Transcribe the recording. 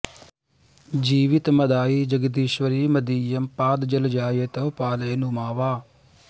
जीवितमदायि जगदीश्वरि मदीयं पादजलजाय तव पालय नु मा वा